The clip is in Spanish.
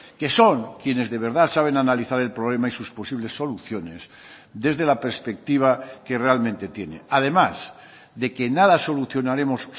que son quienes de verdad saben analizar el problema y sus posibles soluciones desde la perspectiva que realmente tiene además de que nada solucionaremos